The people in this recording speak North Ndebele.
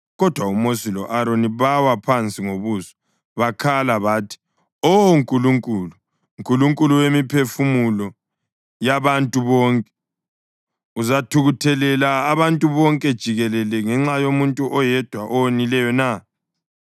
Kodwa uMosi lo-Aroni bawa phansi ngobuso bakhala bathi, “Oh Nkulunkulu, Nkulunkulu wemiphefumulo yabantu bonke, uzathukuthelela abantu bonke jikelele ngenxa yomuntu oyedwa owonileyo na?”